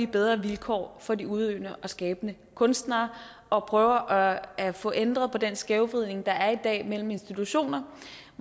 bedre vilkår for de udøvende og skabende kunstnere og prøver at få ændret på den skævvridning der er i dag mellem institutioner